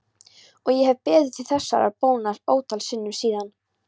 Og ég hef beðið þig þessarar bónar ótal sinnum síðan.